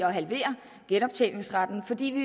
at halvere genoptjeningsretten fordi vi